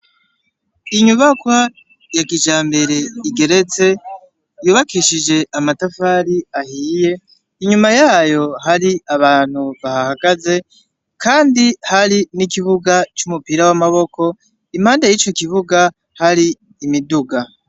Inyubakwa ya kijambere igeretse, yubakishije amatafari ahiye, inyuma yayo hari abantu bahahagaze kandi hari n’ikibuga c’umupira w’amaboko impande yico kibuga hari imiduga.